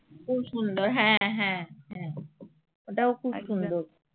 খুব সুন্দর হ্যা হ্যা হ্যা ওটাও খুব সুন্দর